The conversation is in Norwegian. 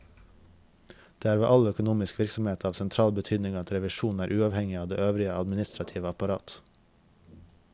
Det er ved all økonomisk virksomhet av sentral betydning at revisjonen er uavhengig av det øvrige administrative apparat.